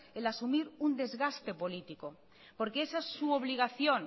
el asumir un desgaste político porque esa es su obligación